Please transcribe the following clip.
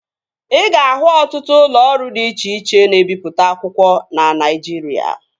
Ị ga-ahụ ọtụtụ ụlọ ọrụ dị iche iche na-ebipụta akwụkwọ na Naijiria